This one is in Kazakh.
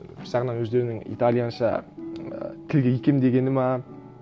бір жағынан өздерінің италиянша і тілге икемдегені ме